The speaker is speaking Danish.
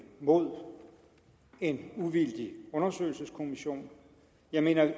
mod en uvildig undersøgelseskommission jeg mener vi